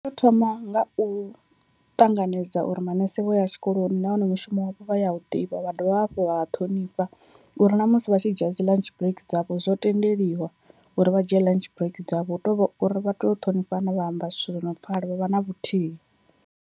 Vha to thoma nga u ṱanganedza uri maṋese vho ya tshikoloni nahone mushumo wavho vha ya u ḓivha vha dovha hafhu vha ṱhonifha, uri na musi vha tshi dzhia dzi ḽantshi brake dzavho zwo tendeliwa uri vha dzhie ḽantshi brake dzavho, hu tovha uri vha tea u ṱhonifhana vha amba zwithu zwi no pfhala vha vha na vhuthihi.